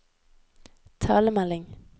talemelding